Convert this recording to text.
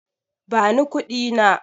Bani kuɗi na.